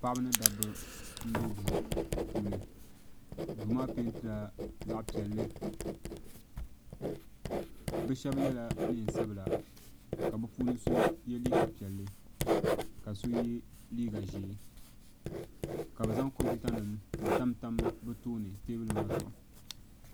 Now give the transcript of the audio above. Paɣaba ni Dabba n bɛ duu puuni duu maa peentila zaɣ piɛli bi shab yɛla neen sabila ka bi puuni so yɛ liiha piɛlli ka so yɛ liiga ʒiɛ ka bi zaŋ kompiuta nim n tam tam bi tooni teebuli maa zuɣu